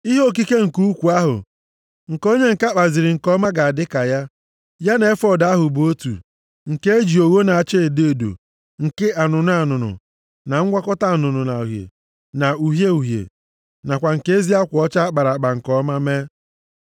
Ihe okike nke ukwu ahụ nke onye ǹka kpaziri nke ọma ga-adị ka ya. Ya na efọọd ahụ bụ otu, nke e ji ogho na-acha edo edo, nke anụnụ anụnụ, na ngwakọta anụnụ na uhie na uhie uhie, nakwa nke ezi akwa ọcha a kpara nke ọma mee.